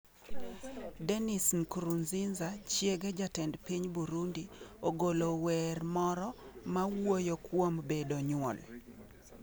Denise Nkurunziza chiege jatend piny Burundi ogolo wer moro mawuoyo kuom bedo nyuol.